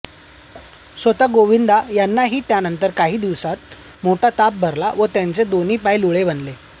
स्वतः गोविंद यांनाही त्यानंतर काही दिवसांतच मोठा ताप भरला व त्यांचे दोन्ही पाय लुळे बनले